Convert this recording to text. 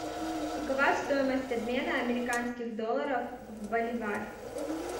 какова стоимость обмена американских долларов в боливар